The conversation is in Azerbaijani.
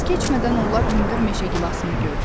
Az keçmədən onlar hündür meşə gilasını gördülər.